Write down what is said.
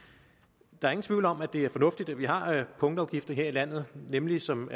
der er ingen tvivl om at det er fornuftigt at vi har punktafgifter her i landet nemlig som